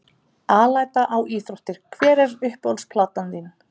Alæta á íþróttir Hver er uppáhalds platan þín?